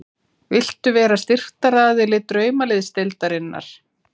Viltu vera styrktaraðili Draumaliðsdeildarinnar?